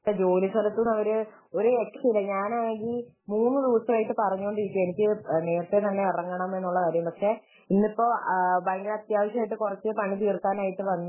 ജോലിസ്ഥലത്തു നിന്ന് അവര് ഒരു രക്ഷയും ഇല്ല. ഞാനാണെങ്കിൽ മൂന്ന് ദിവസമായി പറഞ്ഞുകൊണ്ടിരിക്കുകയാണ് എനിക്ക് നേരെത്തെ തന്നെ ഇറങ്ങണം പക്ഷെ ഇന്നിപ്പോൾ ഭയങ്കര അത്യാവശ്യയിട്ട് കുറച്ചു പണി തീർക്കാനായിട്ട് വന്നു